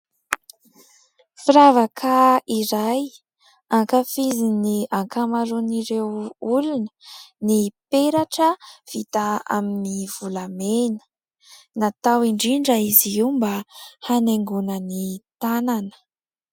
Firavaka iray, hankafizin'ny ankamaroan'ireo olona ny peratra vita amin'ny volamena. Natao indrindra izy io mba hanaingoina ny tanana.